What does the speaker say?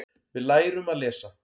Við lærum að lesa.